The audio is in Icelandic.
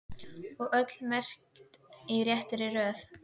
Og öll merkt í réttri röð.